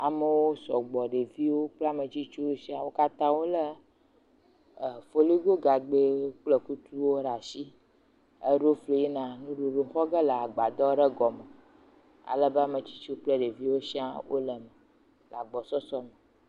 Amewo sɔgbɔ, ɖeviwo kple ametsitsiwo sia. Wo katã wolé foligo gagbɛ kple kutuwo ɖe asi, eɖo fli yina nuɖuɖu xɔ ge agbadɔ ɖe gɔme alebe, ametsitsiwo kple ɖeviwo siaa wole me le agbɔsɔsɔ me.